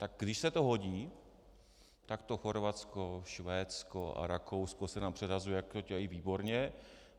Tak když se to hodí, tak to Chorvatsko, Švédsko a Rakousko se nám předhazuje, jak to dělají výborně.